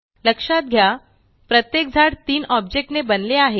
लक्षात घ्या प्रत्येक झाड तीन ऑब्जेक्ट ने बनले आहे